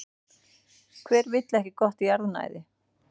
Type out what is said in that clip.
Hver vill ekki gott jarðnæði?